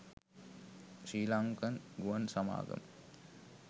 ශ්‍රීලංකන් ගුවන් සමාගම